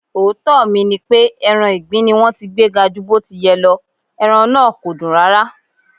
Òótọ́ mi nipé, ẹran ìgbín ni wón ti gbé ga ju bó ti yẹ lọ, ẹran na kòdùn rárá.